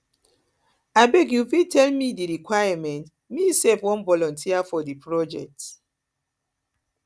abeg you fit tell me di requirements me sef wan voluteer for di project